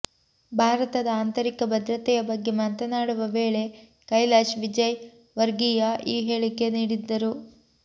ಭಾರತದ ಆಂತರಿಕ ಭದ್ರತೆಯ ಬಗ್ಗೆ ಮಾತನಾಡುವ ವೇಳೆ ಕೈಲಾಶ್ ವಿಜಯ್ ವರ್ಗಿಯ ಈ ಹೇಳಿಕೆ ನೀಡಿದ್ದರು